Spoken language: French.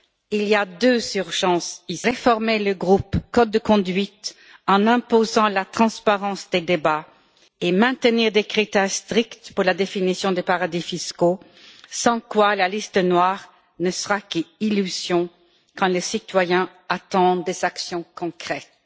Il y a deux urgences réformer le groupe code de conduite en imposant la transparence des débats, et maintenir des critères stricts pour la définition des paradis fiscaux, sans quoi la liste noire ne sera qu'illusion quand les citoyens attendent des actions concrètes.